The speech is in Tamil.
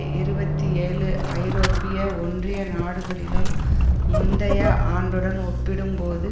இருபத்தி ஏழு ஐரோப்பிய ஒன்றிய நாடுகளிலும் முந்தைய ஆண்டுடன் ஒப்பிடும்போது